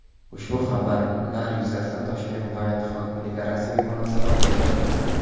Ushbu xabarlar yuzasidan Toshkent viloyati hokimligi rasmiy munosabat bildirdi .